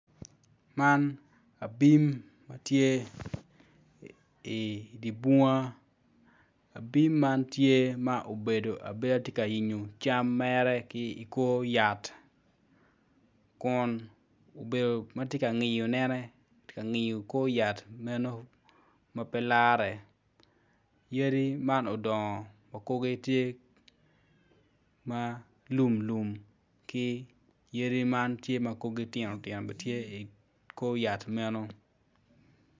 Man abim matye i dibunga abim man tye ma obedo abeda tye ka yenyo cam mere ki kor yat kun obedo matye ka ngiyo ne matye ka ngiyo kor yat meno yadi man odongo okuge tye ma lum lum ki yadi man tye ma korgi tinotino gitye i kor yat meno.